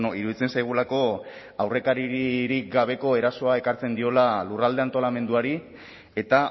iruditzen zaigulako aurrekaririk gabeko erasoa ekartzen diola lurralde antolamenduari eta